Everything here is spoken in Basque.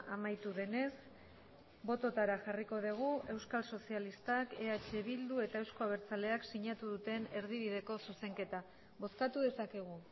amaitu denez bototara jarriko dugu euskal sozialistak eh bildu eta euzko abertzaleak sinatu duten erdibideko zuzenketa bozkatu dezakegu